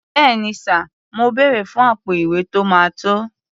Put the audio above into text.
Bẹ́ẹ̀ni sà, mo bèrè fún àpò-ìwé tó máa tó.